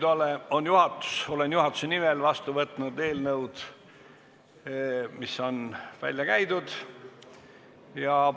Olengi juhatuse nimel vastu võtnud eelnõud, mis on välja käidud.